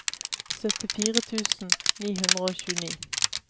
syttifire tusen ni hundre og tjueni